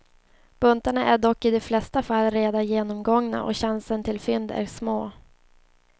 Buntarna är dock i de flesta fall redan genomgångna och chansen till fynd är små.